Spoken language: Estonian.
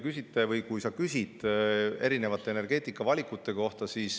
Sa küsisid erinevate energeetikavalikute kohta.